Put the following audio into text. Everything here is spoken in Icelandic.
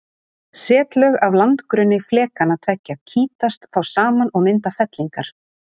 Setlög af landgrunni flekanna tveggja kýtast þá saman og mynda fellingar.